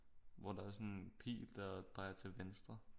Hvor der er sådan en pil der drejer til venstre